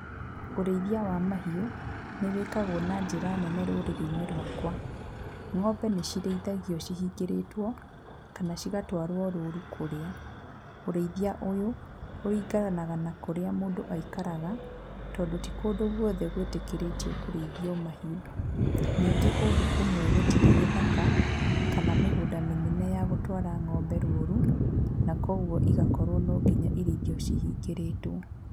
Ũrĩithia wa mahiũ nĩ wĩkagwo na njĩra nene rũrĩrĩ-inĩ rwakwa. Ng'ombe nĩ cirĩithagio cihingĩrĩtwo kana cigatwarwo rũru kũrĩa. Ũrĩithia ũyũ ũringanaga na kũrĩa mũndũ aikaraga, tondũ ti kũndũ guothe gwĩtĩkĩrĩtio kũrĩithio ng'ombe. Ningĩ kũndũ kũmwe gũtirĩ gĩthaka, kana mĩgũnda mĩnene ya gũtwara ng'ombe rũru, na koguo igakorwo no nginya irĩithio cihingĩrĩtwo.